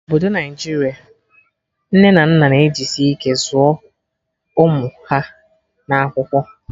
Na obodo Naijiria, nne na nna na ejisi ike zụọ ụmụ ha na akwụkwọ